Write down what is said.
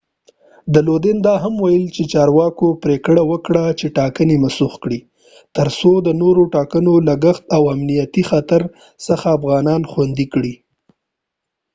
لودین دا هم وویل چې چارواکو پریکړه وکړه چې ټاکنې منسوخ کړي ترڅو د نورو ټاکنو لګښت او د امنیتي خطر څخه افغانان خوندي کړي